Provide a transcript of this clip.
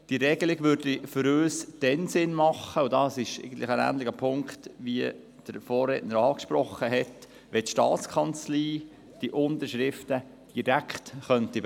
Diese Regel wäre für uns dann sinnvoll, wenn die STA die Unterschriften direkt beglaubigen könnte und den Umweg über die Gemeinden nicht machen müsste.